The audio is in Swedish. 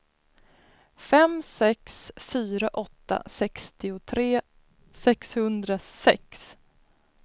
fem sex fyra åtta sextiotre sexhundrasex